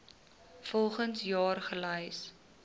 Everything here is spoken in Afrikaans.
volgens jaar gelys